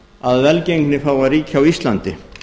að velgengni fái að ríkja á íslandi